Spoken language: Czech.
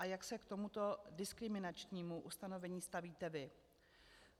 A jak se k tomuto diskriminačnímu ustanovení stavíte vy?